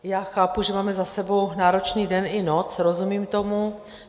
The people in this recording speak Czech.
Já chápu, že máme za sebou náročný den i noc, rozumím tomu.